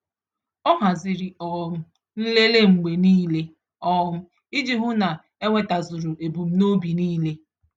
Ọ haziri um nlele mgbe niile um iji hụ na enwetazuru ebum nobi nile